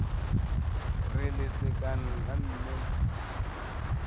re lesekana la mme mme